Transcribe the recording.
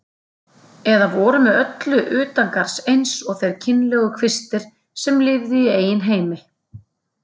Eða voru með öllu utangarðs eins og þeir kynlegu kvistir sem lifðu í eigin heimi.